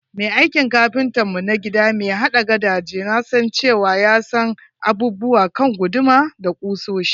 Mai aikin kapintan mu na gida mai haɗa gadaje nasan cewa ya san abubuwa kan guduma da kusoshi.